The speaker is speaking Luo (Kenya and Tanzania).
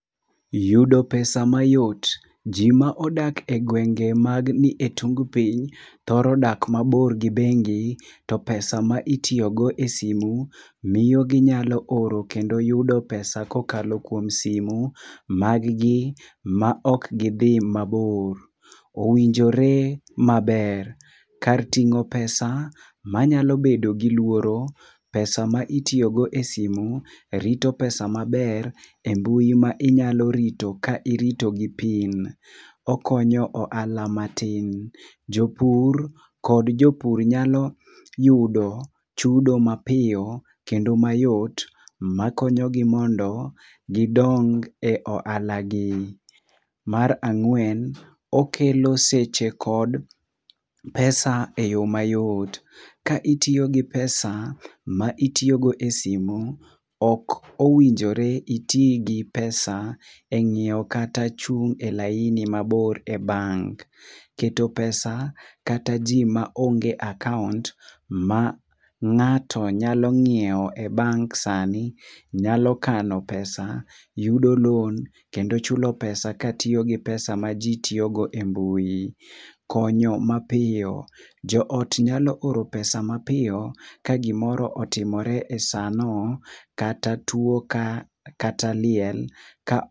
Yudo pesa mayot. Ji ma odak e gwenge man e tung piny thoro dak mabor gi bengi to pesa ma itiyogo esimu, miyo ginyalo oro kendo yudo pesa kokalo kuom simu mag gi maok gidhi mabor. Owinjore maber, kar ting'o pesa manyalo bedo gi luoro, pesa ma itiyogo esimu rito pesa maber embui ma inyalo rito ka irito gi pin. Okonyo ohala matin. Jopur kod jopur nyalo yudo chudo mapiyo kendo mayot makonyogi mondo gidong e ohalagi. Mar ang'wen, okelo seche kod pesa eyo mayot. Ka itiyo gi pesa ma itiyo e simu, ok owinjore iti gi pesa e nyiewo kata chung' e laini mabor e bank. Keto pesa kata ji maonge akaont, ma ng'ato nyalo nyiewo e bank sani nyalo kano pesa, yudo loan kendo chulo pesa katiyo gi pesa maji tiyogo e mbui. Konyo mapiyo. Joot nyalo oro pesa mapiyo ka gimoro otimore e sano kata tuo kata liel ka